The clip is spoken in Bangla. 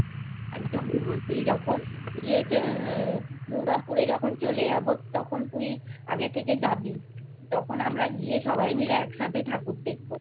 যখন ইয়ে দুর্গাপুরে যখন চলে যাবো তখন তুই আগে থেকে যাবি তখন আমরা গিয়ে সবাই মিলে একসাথে ঠাকুর দেখবো